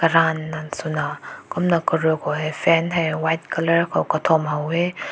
tan nan suna kumna karu goi fan heh white color ko katum hoa weh.